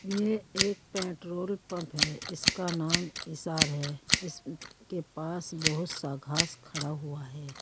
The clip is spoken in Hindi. ये एक पेट्रोल पंप है इसका नाम ईसार है इसके पास बहुत सा घास खड़ा हुआ है।